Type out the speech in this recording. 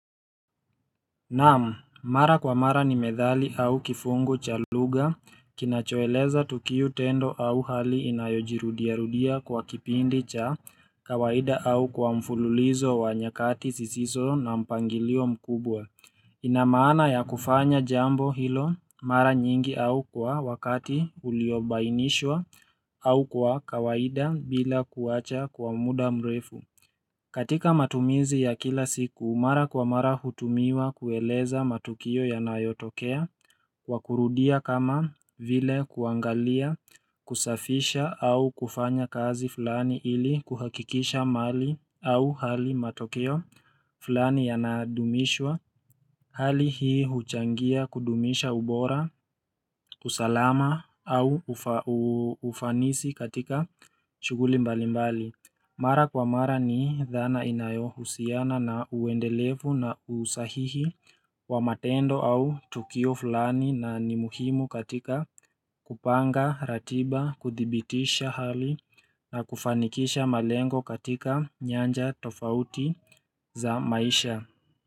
Naam, mara kwa mara ni methali au kifungu cha lugha kinachoeleza tukio, tendo au hali inayojirudiarudia kwa kipindi cha kawaida au kwa mfululizo wa nyakati zisiso na mpangilio mkubwa inamaana ya kufanya jambo hilo mara nyingi au kwa wakati uliobainishwa au kwa kawaida bila kuacha kwa muda mrefu katika matumizi ya kila siku, mara kwa mara hutumiwa kueleza matukio yanayotokea, wakurudia kama vile kuangalia, kusafisha au kufanya kazi fulani ili kuhakikisha mali au hali matukio fulani yanadumishwa, hali hii huchangia kudumisha ubora, usalama au ufanisi katika shughuli mbalimbali. Mara kwa mara ni dhana inayohusiana na uendelevu na usahihi wa matendo au tukio fulani na ni muhimu katika kupanga ratiba kuthibitisha hali na kufanikisha malengo katika nyanja tofauti za maisha.